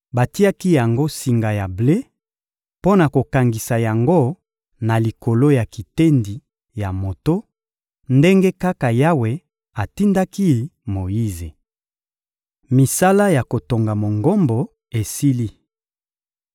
Batiaki yango singa ya ble mpo na kokangisa yango na likolo ya kitendi ya moto, ndenge kaka Yawe atindaki Moyize. Misala ya kotonga Mongombo esili